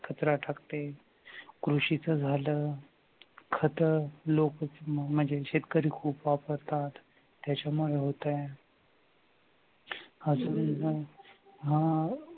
कचरा टाकते कृषीच झालं खत म्हणजे शेतकरी खूप वापरतात त्याच्यामुळे होतंय हा